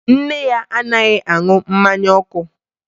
Nne ya anaghị aṅụ mmanya ọkụ